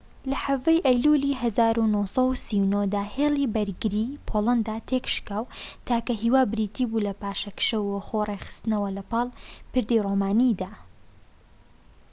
لە 17ی ئەیلولی ١٩٣٩ دا ‌هێلی بەرگریی پۆڵەندا تێكشکا و تاکە هیوا بریتی بوو لە پاشەکشە و خۆ ڕێکخستنەوە لەپاڵ پردی رۆمانیدا